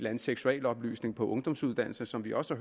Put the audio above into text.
anden seksualoplysning på ungdomsuddannelserne som vi også